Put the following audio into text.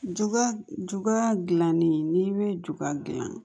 Juga dilannen n'i bɛ juga dilan